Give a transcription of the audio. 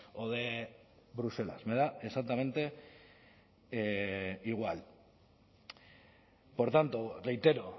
o de bruselas me da exactamente igual por tanto reitero